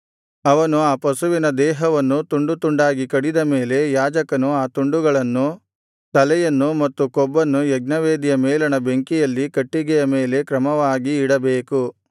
ಅವನು ಆ ಪಶುವಿನ ದೇಹವನ್ನು ತುಂಡು ತುಂಡಾಗಿ ಕಡಿದ ಮೇಲೆ ಯಾಜಕನು ಆ ತುಂಡುಗಳನ್ನು ತಲೆಯನ್ನು ಮತ್ತು ಕೊಬ್ಬನ್ನು ಯಜ್ಞವೇದಿಯ ಮೇಲಣ ಬೆಂಕಿಯಲ್ಲಿ ಕಟ್ಟಿಗೆಯ ಮೇಲೆ ಕ್ರಮವಾಗಿ ಇಡಬೇಕು